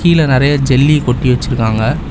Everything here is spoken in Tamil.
கீழ நறைய ஜெல்லி கொட்டி வச்சிருக்காங்க.